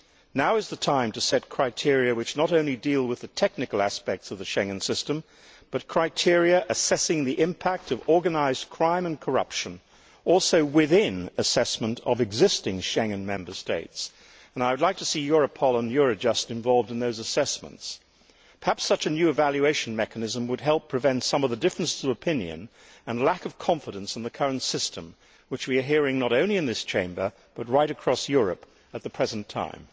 Now is the time to set criteria which not only deal with the technical aspects of the Schengen system, but assess the impact of organised crime and corruption, also within the assessment of existing Schengen Member States, and I would like to see Europol and Eurojust involved in those assessments. Perhaps such a new evaluation mechanism would help prevent some of the differences of opinion and lack of confidence in the current system which we are hearing not only in this Chamber but right across Europe at the present time.